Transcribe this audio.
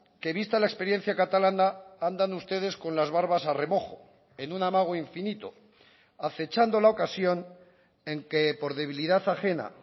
que vista la experiencia catalana andan ustedes con las barbas a remojo en un amago infinito acechando la ocasión en que por debilidad ajena